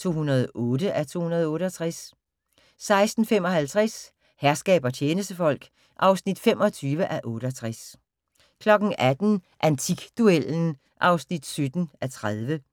(208:268) 16:55: Herskab og tjenestefolk (25:68) 18:00: Antikduellen (17:30)